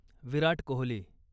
Virat Kohli